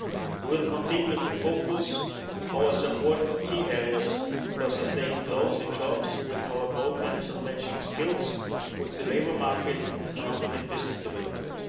We will continue to focus our support on key areas for sustained growth in jobs with our programmes, and matching skills with the labour market and economic and business development.